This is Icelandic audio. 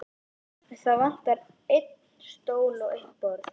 Það vantar einn stól og eitt borð.